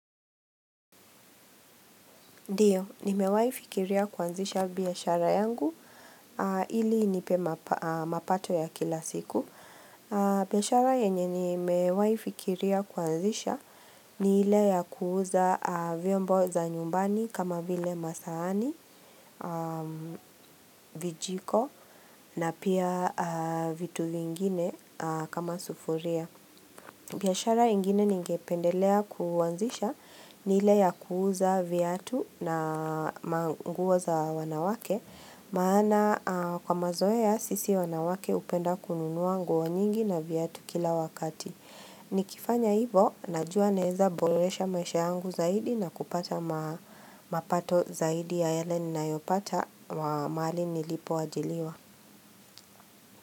Ndiyo, ni mewahi fikiria kuanzisha biashara yangu ili nipe mapato ya kila siku. Biashara yenye ni mewahi fikiria kuanzisha ni ile ya kuuza vyombo za nyumbani kama vile masahani, vijiko na pia vitu vingine kama sufuria. Biashara ingine ningependelea kuanzisha nile ya kuuza viatu na manguo za wanawake Maana kwa mazoe ya sisi wanawake hupenda kununua nguo nyingi na viatu kila wakati Nikifanya hivo, najua naeza boresha maisha yangu zaidi na kupata mapato zaidi ya yale ni nayopata mahali nilipoajiriwa.